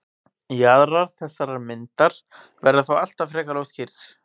jaðrar þessarar myndar verða þó alltaf frekar óskýrir